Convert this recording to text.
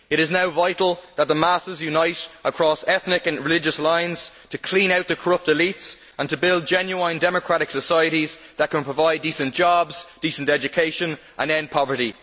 It is now vital that the masses unite across ethnic and religious lines to clean out the corrupt elites and build genuine democratic societies that can provide decent jobs, decent education and end poverty.